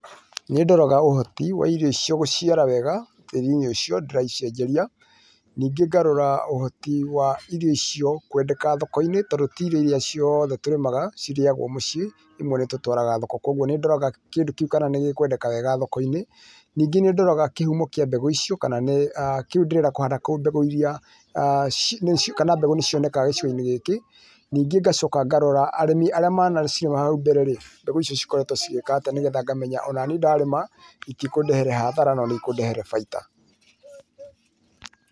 Nĩndoraga ũhoti wa irio icio gũciara wega tĩri-inĩ ũcio ndĩracicenjeria, ningĩ ngarora ũhoti wa irio icio kwendeka thokoinĩ tondũ ti irio iria ciothe tũrĩmaga cirĩyagwo mũciĩ imwe nĩ tũtwaraga thoko koguo nĩ ndoraga kana kĩndũ kĩu nĩ gĩkwendeka thoko-inĩ. Ningĩ nĩndoraga kĩhumo kĩa mbegũ icio ndĩrahanda kũu kana mbegũ nĩcionekaga gĩcigo-inĩ gĩkĩ. Ningĩ ngacoka ngarora arĩmi arĩa manacirĩma hau mbererĩ mbegũ icio ikoretwo ĩgĩka atia nĩgetha ngamenya o naniĩ ndarĩma itikũndehera hathara no nĩikũndehere baita.